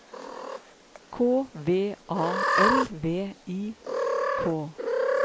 K V A L V I K